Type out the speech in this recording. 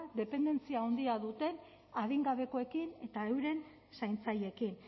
dependentzia handia duten adingabekoekin eta euren zaintzaileekin